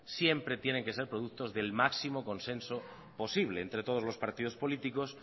siempre tienen que ser productos del máximo consenso posible entre todos los partidos políticos